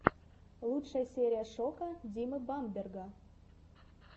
лучшая серия шока димы бамберга